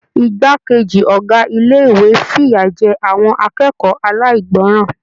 Igbákejì Ọ̀gá ilé-ìwé f'iya jẹ àwọn akẹ́kọ̀ọ́ alaigbọran.